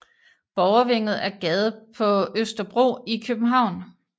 Borgervænget er gade på Østerbro i København